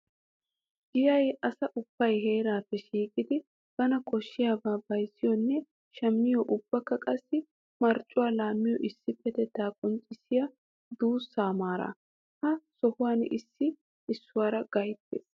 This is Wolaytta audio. Giyay asay ubba heerappe shiiqidi bana koshidaba bayzziyonne shammiyo ubbakka qassi marccuwa laamiyo issipetetta qonccissiya duussa maara. Ha sohuwan issoy issuwara gayttees.